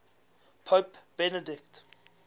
pope benedict